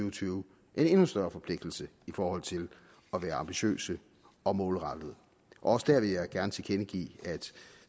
og tyve en endnu større forpligtelse i forhold til at være ambitiøse og målrettede også der vil jeg gerne tilkendegive at